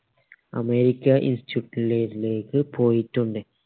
america instutute ലെ ലേക്ക് പോയിട്ടുണ്ട്